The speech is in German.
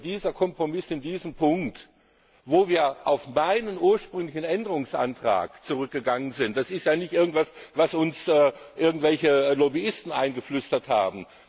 Und der Kompromiss in diesem Punkt, wo wir auf meinen ursprünglichen Änderungsantrag zurückgegangen sind, ist ja nicht irgendwas, was uns irgendwelche Lobbyisten eingeflüstert haben.